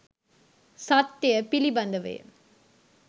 සත්‍යය ය පිළිබඳවය ය.